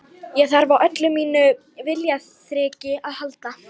Ég þarf á öllu mínu viljaþreki að halda.